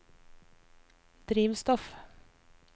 drivstoff